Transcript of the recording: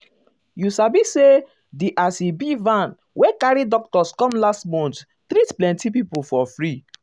you sabi say di as e be van wey carry doctors come last month treat plenty people for um free.